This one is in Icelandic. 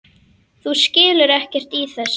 Þú skilur ekkert í þessu.